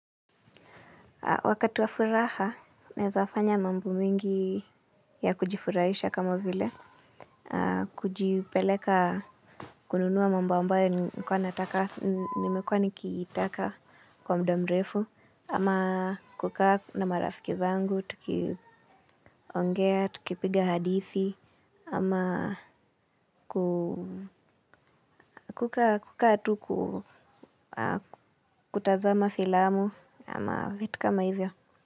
Wakati wa furaha, naweza fanya mambo mengi ya kujifurahisha kama vile. Kujipeleka kununua mambo ambayo nimekuwa nikiitaka kwa muda mrefu. Ama kukaa na marafiki zangu, tukiongea, tukipiga hadithi. Ama kukaa tu kutazama filamu ama vitu kama hivyo.